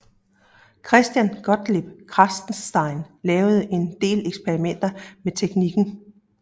Christian Gottlieb Kratzenstein lavede en del eksperimenter med teknikken